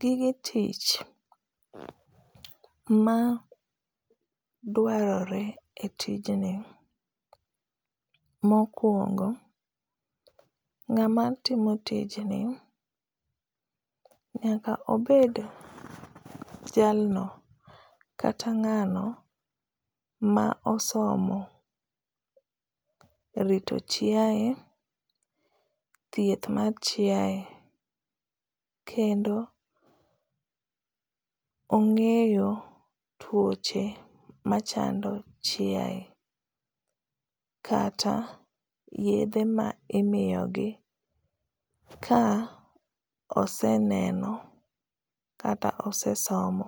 Gige tich ma dwarore e tijni mokwong, ngáma timo tijni nyaka obed jalno kata ngáno ma osomo rito chiae, thieth mar chiae, kendo ongéyo tuoche machando chiae. Kata yiedhe ma imiyogi, ka oseneno kata osesomo